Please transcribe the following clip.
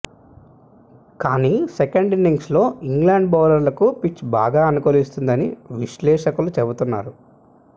కానీ second innings లో England బౌలర్లకు పిచ్ బాగా అనుకూలిస్తుందని విశ్లేషకులు చెబుతున్నారు